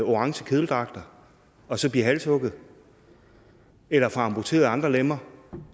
orange kedeldragter og så blive halshugget eller få amputeret andre lemmer